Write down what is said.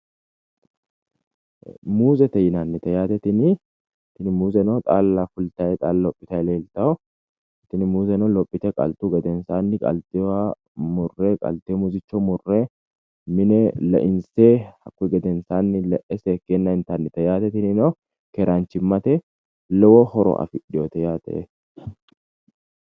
Muuzete yinanni tini muuze xaalla fultay xaalla lophitay leeltawo tini muuze lophituhu qaltuhu gedenaanni qaltewooha murre mine leinse intayi yaate tini muuzeno keeraanchimmate lowo horo afidhewo yaate.